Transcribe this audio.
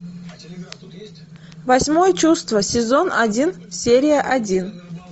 восьмое чувство сезон один серия один